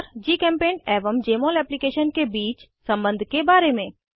और जीचेम्पेंट एवं जमोल एप्लीकेशन के बीच सम्बन्ध के बारे में